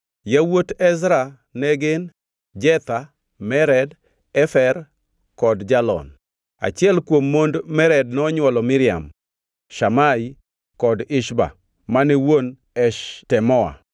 Yawuot Ezra ne gin: Jetha, Mered, Efer kod Jalon. Achiel kuom mond Mered nonywolo Miriam, Shamai kod Ishba mane wuon Eshtemoa.